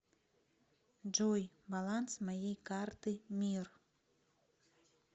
джой баланс моей карты мир